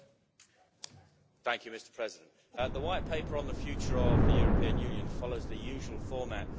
Mr President, the White Paper on the future of the European Union follows the usual format that we are used to.